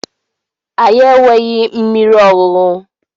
Anyị enweghị mmiri ọṅụṅụ.